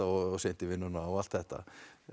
of seint í vinnuna og allt þetta